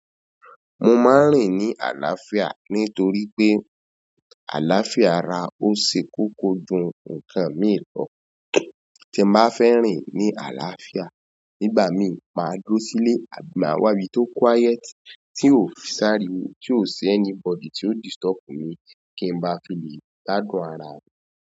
Mo máa ń rìn ní àlàáfíà nitoripe àlàáfíà ara o ṣe kókó jù ǹkan mi lọ. Tí n bá fẹ́ rìn ní àlàáfíà, nígbà míì, máa dúró sílé àbí máa wá ibi tó quiet, tí ó sáriwo, tí ó ṣi anybody tí ò disturb mi kí n bá fi lè gbadún ara mi.